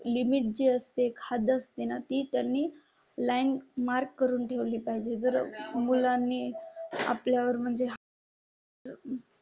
एक लिमिट जी असते. खाद्य असते ना ती त्यांनी लॅन्ड मार्क करून ठेवली पाहिजे. जर मुलांनी आपल्या वर म्हणजे.